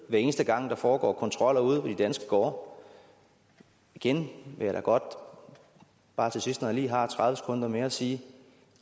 hver eneste gang der foregår kontroller ude på de danske gårde igen vil jeg da godt bare til sidst når jeg lige har tredive sekunder mere sige at